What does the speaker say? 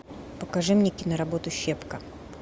покажи мне киноработу щепка